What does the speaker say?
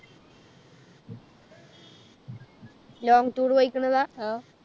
Long tour പോയിക്കണതാ